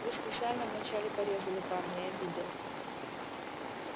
вы специально вначале порезали парня я видел